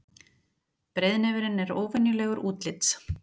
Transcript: Breiðnefurinn er óvenjulegur útlits.